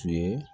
Tun ye